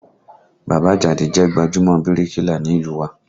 Bàbá Àjàdí jẹ́ gbajúmọ̀ bíríkìlà ní ìlú u wa